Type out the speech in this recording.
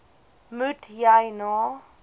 moet jy na